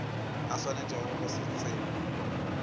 a swanetšego go se tseba